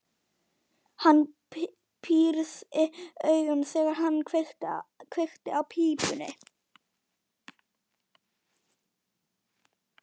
Hann pírði augun, þegar hann kveikti í pípunni.